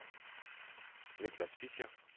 Nicklas Fischer